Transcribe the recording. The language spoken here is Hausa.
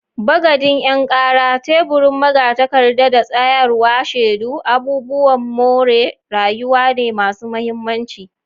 Bagadin 'yan kara, teburin magatakarda, da tsayawar shedu abubuwan more rayuwa ne masu mahimmanci.